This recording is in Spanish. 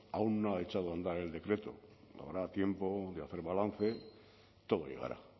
aún no ha echado a andar el decreto habrá tiempo de hacer balance todo llegará